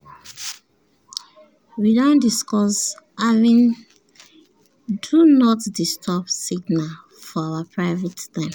we don discuss having “do not disturb” signals for our private time.